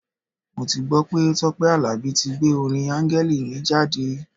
Mo ti gbọ́ pé Tọ́pẹ́ Àlàbí tí gbé orin Áńgẹ́lì mi jáde.